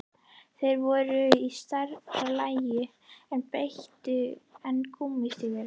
Þeir voru í stærra lagi en betri en gúmmí- stígvélin.